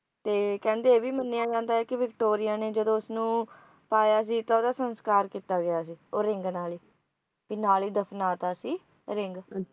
ਤੇ ਕਹਿੰਦੇ ਇਹ ਵੀ ਮੰਨਿਆ ਜਾਂਦਾ ਵੀ ਵਿਕਟੋਰੀਆ ਨੇ ਜਦੋਂ ਇਸਨੂੰ ਪਾਇਆ ਸੀ ਤਾਂ ਓਹਦਾ ਸੰਸਕਾਰ ਕੀਤਾ ਗਿਆ ਸੀ ਉਹ ਰਿੰਗ ਨਾਲ ਹੀ ਵੀ ਨਾਲ ਹੀ ਦਫਨਾ ਦਤਾ ਸੀ ring